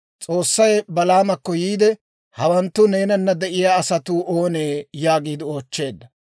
S'oossay Balaamakko yiide, «Hawanttu neenana de'iyaa asatuu oonee?» yaagiide oochcheedda.